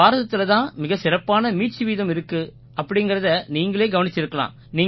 பாரதத்தில தான் மிகச் சிறப்பான மீட்சி வீதம் இருக்கு அப்படீங்கறதை நீங்களே கவனிச்சிருக்கலாம்